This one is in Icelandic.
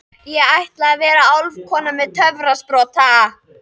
Ég ætla að vera álfkona með töfrasprota.